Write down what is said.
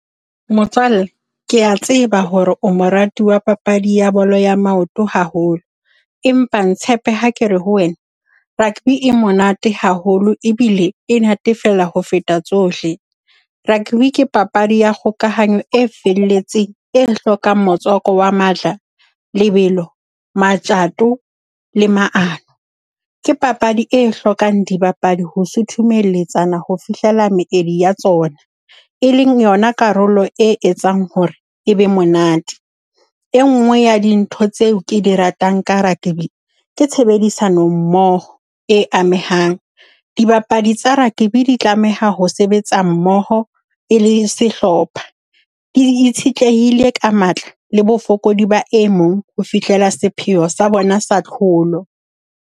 Motswalle, ke a tseba hore o morati wa papadi ya bolo ya maoto haholo, empa ntshepe ha ke re ho wena rugby e monate haholo ebile e natefela ho feta tsohle. Rugby ke papadi ya kgokahanyo e felletseng e hlokang motswako wa matla, lebelo, matjato le maano. Ke papadi e hlokang dibapadi ho sutumeletsana ho fihlela meedi ya tsona. E leng yona karolo e etsang hore e be monate. E nngwe ya dintho tseo ke di ratang ka rugby, ke tshebedisano mmoho e amehang. Dibapadi tsa rugby di tlameha ho sebetsa mmoho e le sehlopha, di itshetlehile ka matla le bofokodi ba e mong ho fihlela sepheo sa bona sa tlholo.